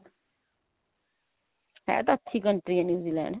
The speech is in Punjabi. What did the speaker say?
ਹੈ ਤਾਂ ਅੱਛੀ country ਆ new Zealand